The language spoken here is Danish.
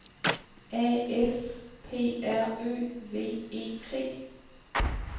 A F P R Ø V E T